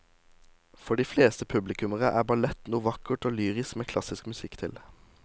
For de fleste publikummere er ballett noe vakkert og lyrisk med klassisk musikk til.